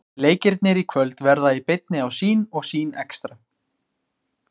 Leikirnir í kvöld verða í beinni á Sýn og Sýn Extra.